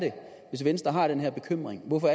hvis venstre har den her bekymring hvorfor